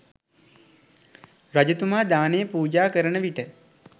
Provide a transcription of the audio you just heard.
රජතුමා දානය පූජා කරන විට